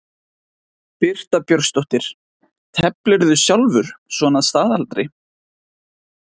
Birta Björnsdóttir: Teflirðu sjálfur svona að staðaldri?